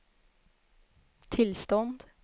tillstånd